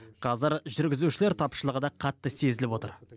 қазір жүргізушілер тапшылығы да қатты сезіліп отыр